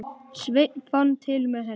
Sveinn fann til með henni.